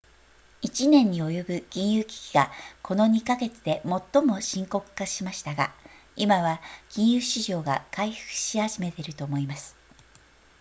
「1年に及ぶ金融危機がこの2か月で最も深刻化しましたが、今は金融市場が回復し始めていると思います」